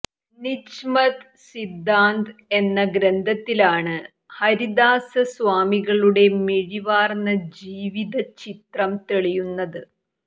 നിജ്മത് സിദ്ധാന്ത് എന്ന ഗ്രന്ഥത്തിലാണ് ഹരിദാസ സ്വാമികളുടെ മിഴിവാര്ന്ന ജീവിതചിത്രം തെളിയുന്നത്